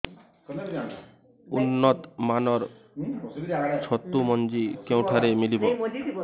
ଉନ୍ନତ ମାନର ଛତୁ ମଞ୍ଜି କେଉଁ ଠାରୁ ମିଳିବ